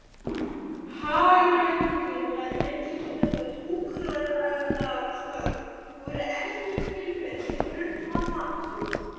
Hagræðingin leiddi til þess að hjúkrunarstörf voru endurskilgreind í grundvallaratriðum.